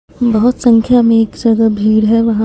बहोत संख्या में एक जगह भीड़ है वहां।